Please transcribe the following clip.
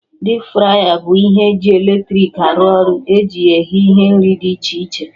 Dipu fraya bụ ihe ji eletrik arụ ọrụ, eji ya eghe ihe nri dị iche iche